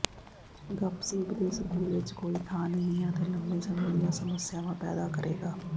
ਗੱਪਸੀਪ ਦੇ ਸਕੂਲ ਵਿੱਚ ਕੋਈ ਥਾਂ ਨਹੀਂ ਹੈ ਅਤੇ ਲੰਮੇ ਸਮੇਂ ਦੀਆਂ ਸਮੱਸਿਆਵਾਂ ਪੈਦਾ ਕਰੇਗਾ